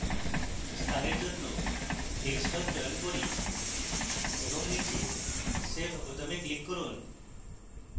স্থানের জন্য desktop চয়ন করি এবং নীচে save বোতামে ক্লিক করুন